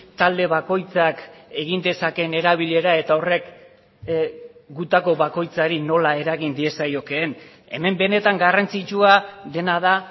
talde bakoitzak egin dezakeen erabilera eta horrek gutako bakoitzari nola eragin diezaiokeen hemen benetan garrantzitsua dena da